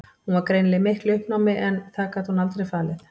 Hún var greinilega í miklu uppnámi en það gat hún aldrei falið.